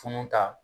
Funun ta